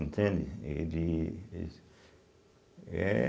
Entende? Ele eh